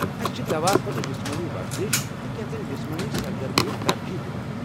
أسہِ چھِ دوا کھۄتہٕ جسمٲنی ورزش تہٕ کیٚنٛژن جسمٲنی سرگرمین ترجیٖح دِوان۔